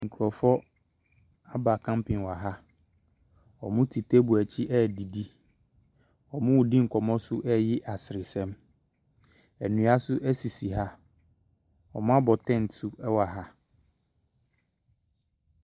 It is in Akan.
Nkorɔfoɔ aba kampen wɔ ha, ɔmo teebol akyi ɛɛdidi, ɔmoo di nkɔmɔ so ɛɛyi asresɛm. Ɛnnua so ɛsisi ha, ɔmo abɔ tɛnt so ɛwɔ ha.